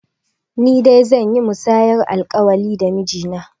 Ni dai zan yi musayar alƙawari da miji na